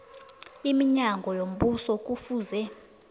iminyango yombuso kufuze